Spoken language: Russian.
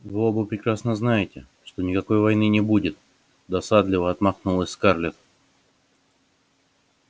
вы оба прекрасно знаете что никакой войны не будет досадливо отмахнулась скарлетт